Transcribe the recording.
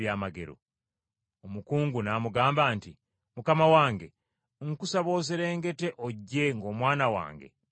Omukungu n’amugamba nti, “Mukama wange, nkusaba oserengete ojje ng’omwana wange tannafa!”